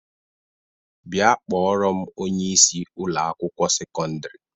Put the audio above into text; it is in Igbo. Bia kporo m onye isi Ụlọ akwụkwọ sekọndrị